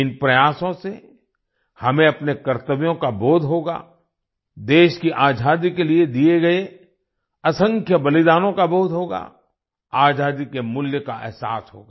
इन प्रयासों से हमें अपने कर्तव्यों का बोध होगा देश की आजादी के लिए दिए गए असंख्य बलिदानों का बोध होगा आजादी के मूल्य का ऐहसास होगा